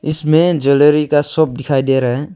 इसमें ज्वेलरी का शॉप दिखाई दे रहा है।